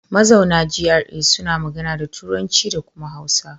Mazauna GRA suna magana da Turanci da kuma Hausa.